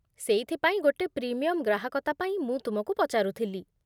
ସେଇଥିପାଇଁ ଗୋଟେ ପ୍ରିମିୟମ୍ ଗ୍ରାହକତା ପାଇଁ ମୁଁ ତୁମକୁ ପଚାରୁଥିଲି।